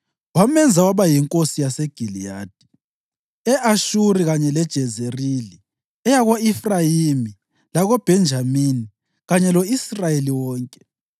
Wamenza waba yinkosi yaseGiliyadi, e-Ashuri kanye leJezerili, eyako-Efrayimi, lakoBhenjamini kanye lo-Israyeli wonke.